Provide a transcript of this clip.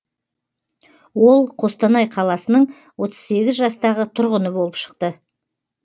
ол қостанай қаласының отыз сегіз жастағы тұрғыны болып шықты